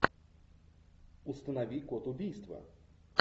установи код убийства